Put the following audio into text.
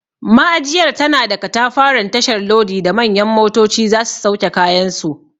Ma'ajiyar tana da katafaren tashar lodi da manyan motoci za su sauke kayansu.